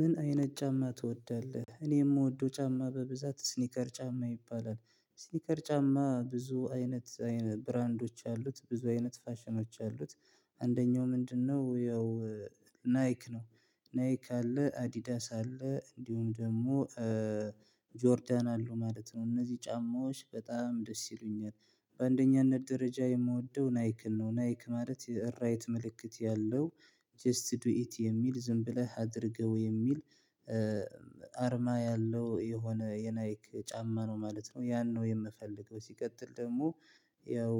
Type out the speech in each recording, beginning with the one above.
ምን አይነት ጫማ ትወዳለህ እኔ የምወደው ጫማ በብዛት ስኒከር ጫማ ይባላል ስኒከር ጫማ ብዙ አይነት ብራንዶች አሉት ብዙ አይነት ፋሽኖች አሉት። አንደኛው ምንድነው? ያው ናይክ ነው። ናይክ አለ አዲዳስ አለ እንዲሁም ደግሞ። ጆርዳን አሉ ማለት ነው እነዚህ ጫማዎች በጣም ደስ ይሉኛል። በአንደኛነት ደረጃ የምወደው ናይክን ነው ናይክ ማለት የራይት ምልክት ያለው። ጀስት ዱ ኢት የሚል ዝም ብለህ አድርገው የሚል። አርማ ያለው የሆነ የናይክ ጫማ ነው ማለት ነው። ያን ነው የምፈልገው ሲቀጥል ደግሞ። ያው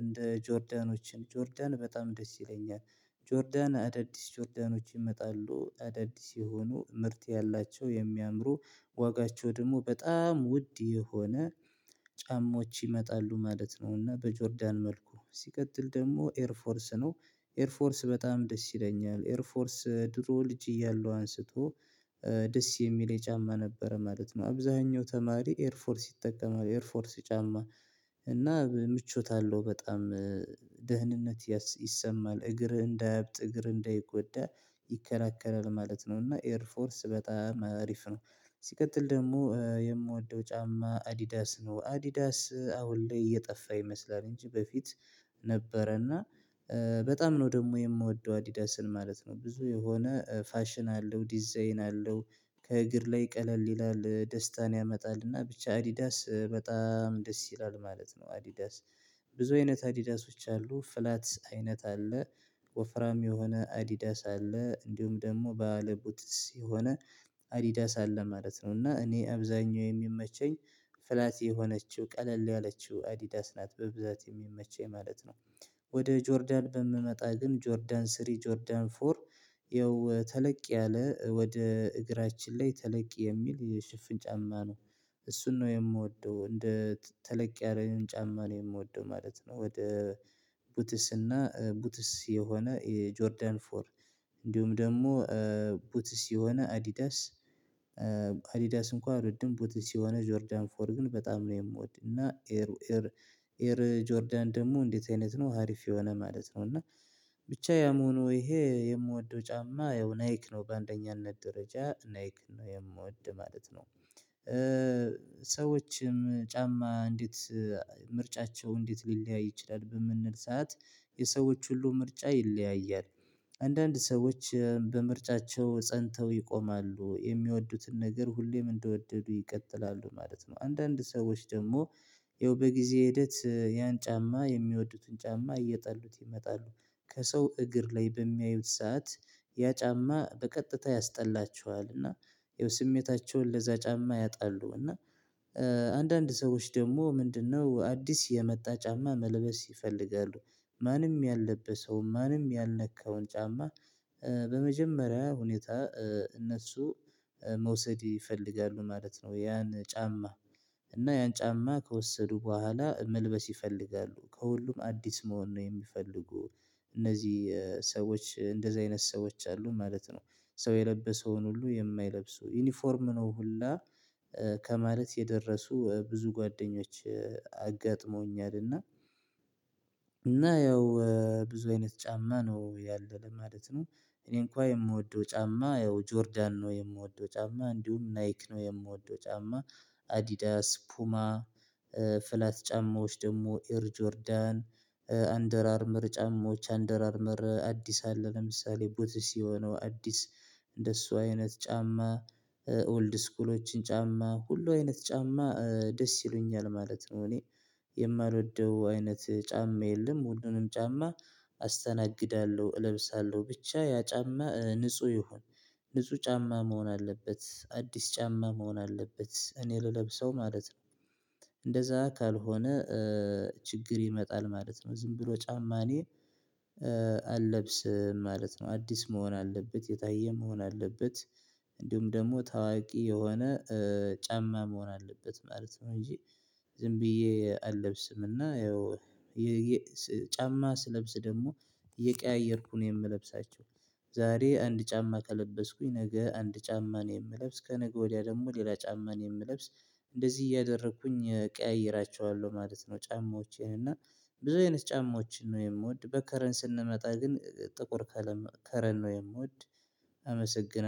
እንደ ጆርዳኖችን ጆርዳን በጣም ደስ ይለኛል። ጆርዳን አዳዲስ ጆርዳኖች ይመጣሉ አዳዲስ የሆኑ ምርት ያላቸው የሚያምሩ። ዋጋቸው ደግሞ በጣም ውድ የሆነ ጫማዎች ይመጣሉ ማለት ነው። እና በጆርዳን መልኩ ሲቀጥል ደግሞ ኤር ፎርስ ነው። ኤር ፎርስ በጣም ደስ ይለኛል ኤር ፎርስ ድሮ ልጅ እያለሁ አንስቶ። ደስ የሚል ጫማ ነበረ ማለት ነው አብዛኛው ተማሪ ኤርፎርስ ይጠቀማል ኤርፎርስ ጫማ። እና ምቾት አለው በጣም ደህንነት ይሰማል እግር እንዳያብጥ እግር እንደይጎዳ ይከላከላል ማለት ነው። እና ኤር ፎርስ በጣም አሪፍ ነው። ሲቀጥል ደግሞ የምወደው ጫማ አዲዳስ ነው አዲዳስ አሁን ላይ እየጠፋ ይመስላል እንጂ በፊት። ነበረና እና በጣም ነው ደግሞ የምወደው አዲዳስን ማለት ነው ብዙ የሆነ ፋሽን አለው ዲዛይን አለው። ከእግር ላይ ቀለል ይላል ደስታን ያመጣልና ብቻ አዲዳስ በጣም ደስ ይላል ማለት ነው አዲዳስ። ብዙ አዲዳሶች አሉ ፍላት አይነት አለ። ወፍራም የሆነ አዲዳስ አለ እንዲሁም ደግሞ ባለ ቡትስ የሆነ አዲዳስ አለ ማለት ነው። እና እኔ አብዛኛው የሚመቸኝ ፍላት የሆነችው ቀለል ያለችው አዲዳስ ናት በብዛት የሚመቸኝ ማለት ነው። ወደ ጆርዳን በምመጣ ግን ጆርዳን ስሪ ጆርዳን ፎር ይኸው ተለቅ ያለ ወደ እግራችን ላይ ተለቅ የሚል የሽፍን ጫማ ነው። እሱን ነው የምወደው እንደ ተለቅ ያለን ጫማ ነው የምወደው ማለት ነው። ወደ ቡትስ እና ቡትስ የሆነ የጆርዳን ፎር እንዲሁም ደግሞ ቡትስ የሆነ አዲዳስ። አዲዳስ እንኳን አልወድም ቡትስ የሆነ ጆርዳን ፎር ግን በጣም ነው የምወድና። ኤር ጆርዳን ደግሞ እንዴት አይነት ነው ሀሪፍ የሆነ ማለት ነው። እና ብቻ ያምሆነው ይሄ የምወደው ጫማ ያው ናይክ ነው በአንደኛነት ደረጃ ናይክ ነው የምወድ ማለት ነው። ሰዎችም ጫማ እንዴት ምርጫቸው እንዴት ሊለያይ ይችላል? በምንል ሰዓት የሰዎች ሁሉ ምርጫ ይለያያል። አንዳንድ ሰዎች በምርጫቸው ፀንተው ይቆማሉ የሚወዱትን ነገር ሁሌም እንደወደዱ ይቀጥላሉ ማለት ነው። አንዳንድ ሰዎች ደግሞ ያው በጊዜ ሂደት ያን ጫማ የሚወዱትን ጫማ እየጠሉት ይመጣሉ። ከሰው እግር ላይ በሚያዩት ሰዓት ያ ጫማ በቀጥታ ያስጠላቸዋል። እና ያው ስሜታቸውን ለዛ ጫማ ያጣሉ። እና አንዳንድ ሰዎች ደግሞ ምንድነው አዲስ የመጣ ጫማ መልበስ ይፈልጋሉ። ማንም ያለበሰውን ማንም ያልነካውን ጫማ። በመጀመሪያ ሁኔታ እነሱ መውሰድ ይፈልጋሉ ማለት ነው። ያን ጫማ እና ያን ጫማ ከወሰዱ በኋላ መልበስ ይፈልጋሉ ከሁሉም አዲስ መሆን ነው የሚፈልጉ። እነዚህ ሰዎች እንደዚህ አይነት ሰዎች አሉ ማለት ነው። ሰው የለበሰውን ሁሉ የማይለብሱ ዩኒፎርም ነው ሁላ። ከማለት የደረሱ ብዙ ጓደኞች አጋጥሞኛል። እና እና ያው ብዙ አይነት ጫማ ነው ያለ ማለት ነው። እኔ እንኳን የምወደው ጫማ ያው ጆርዳን ነው የምወደው ጫማ እንዲሁም ናይክ ነው የምወደው ጫማ። አዲዳስ ፑማ ፍላት ጫማዎች ደግሞ ኤር ጆርዳን አንደር አርመር ጫማዎች አንደር አርምር አዲስ አለ ለምሳሌ ቡትስ የሆነው አዲስ እንደሱ አይነት ጫማ። ኦልድ ስኩሎችን ጫማ ሁሉ አይነት ጫማ ደስ ይሉኛል ማለት ነው። እኔ የማልወደው አይነት ጫማ የለም። ሁለንም ጫማ አስተናግዳለሁ እለብሳለሁ ብቻ ያ ጫማ ንጹህ ይሁን። ንጹህ ጫማ መሆን አለበት አዲስ ጫማ መሆን አለበት እኔ ልለብሰው ማለት ነው። እንደዛ ካልሆነ ችግር ይመጣል ማለት ነው። ዝም ብሎ ጫማኔ አለብስም ማለት ነው። አዲስ መሆን አለበት የታየ መሆን አለበት። እንዲሁም ደግሞ ታዋቂ የሆነ ጫማ መሆን አለበት ማለት ነው። እንጂ ዝም ብዬ አለብስም። እና ያው ጫማ ስለብስ ደግሞ እየቀያየርኩ ነው የምለብሳቸው። ዛሬ አንድ ጫማ ከለበስኩኝ ነገ አንድ ጫማ ነው የምለብስ ከነገ ወዲያ ደግሞ ሌላ ጫማ ነው የምለብስ። እንደዚህ እያደረኩኝ እቀያይራቸዋለሁ ማለት ነው። ጫማዎቼን እና ብዙ አይነት ጫማዎችን ነው የምወድ በከለር ስንመጣ ግን ጥቁር ከለር ነው የምወድ። አመሰግናለሁ